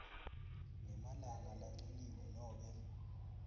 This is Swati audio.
ngemalanga lancunyiwe nobe